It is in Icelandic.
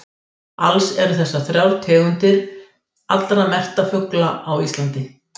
Alls eru þessar þrjár tegundir þriðjungur allra merktra fugla á landinu.